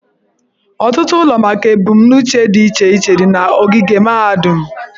Ọtụtụ ụlọ maka ebumnuche dị iche iche dị n'ogige mahadum.